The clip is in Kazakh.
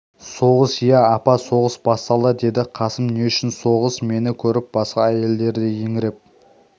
соғыс иә апа соғыс басталды деді қасым не үшін соғыс мені көріп басқа әйелдер де еңіреп